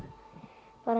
bara